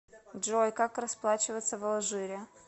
джой как расплачиваться в алжире